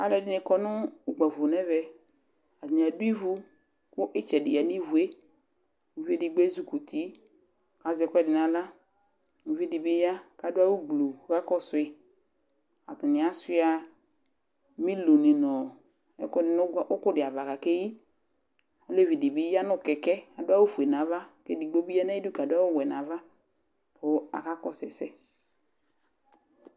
Alu ɛdini kɔ nu ukpafo nu ɛvɛ Atani adu ivu ku itsɛ di ya nu ivu yɛ Uvi edigbo ezi kuti ku azɛ ɛku ɛdi nu aɣla uvi di bi ya ku adu awu gblu ku ɔkakɔsu yi Atani asuia miloni nu ɛku ɛdi nu uku di ava akeyi ɔlevi di bi ya nu kɛkɛ adu awu fue nu ava edigbo bi ya nu ayidu adu awu wɛ nu ava ku akakɔsu ɛsɛ